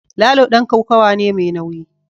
Lalo dan kokawa ne mai nauyi